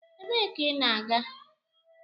Ebee ka ị na-aga?